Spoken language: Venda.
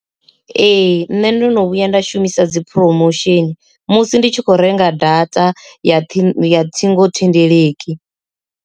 Ee, nṋe ndono vhuya nda shumisa dzi phurofesheni musi ndi tshi kho renga data ya thimu ya ṱhingothendeleki.